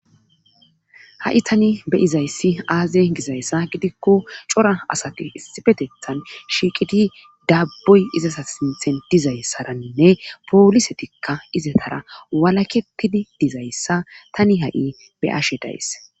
Ha'i tani be'izayssi aaze gizayssa gidikko cora asati issipeththan shiiqidi daaboy izata sinthen dizayssaranne poolisetikka izatara walaketidi dizayssa tani ha'i be'ashe days.